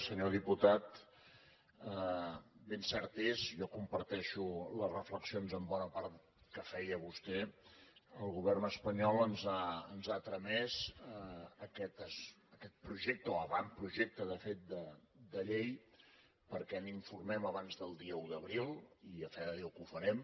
senyor diputat ben cert és jo comparteixo les reflexions en bona part que feia vostè el govern espanyol ens ha tramès aquest projecte o avantprojecte de fet de llei perquè n’informem abans del dia un d’abril i a fe de déu que ho farem